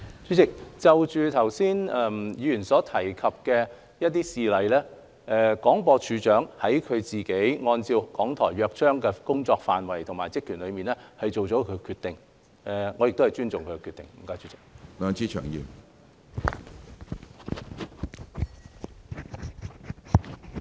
主席，就着議員剛才提及的一些事例，廣播處長按照《港台約章》的工作範圍及其職權，作出了他的決定，而我亦尊重他的決定。